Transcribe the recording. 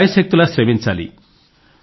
శాయశక్తులా శ్రమించాలి